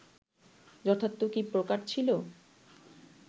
যথার্থ কি প্রকার ছিল